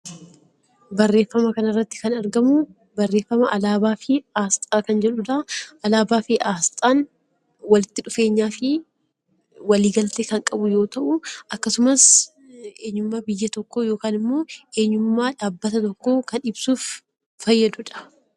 Barreeffama kana irratti kan argamuu barreeffama 'Alaabaa fi Asxaa ' kan jedhu dha. Alaabaa fi Asxaan walitti dhufeenyaa fi walii galtee kan qabu yoo ta'u, akkasumas eenyummaa biyya tokkoo yookaan immoo eenyummaa dhaabbata tokkoo kan ibsuuf fayyadu dha.